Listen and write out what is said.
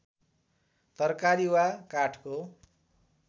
तरकारी वा काठको